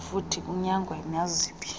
futhi kunyangwe naziphi